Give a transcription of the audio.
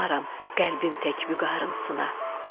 Qoymaram qəlbim tək vüqarım sına.